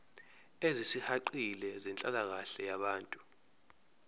ezisihaqile zenhlalakahle yabantu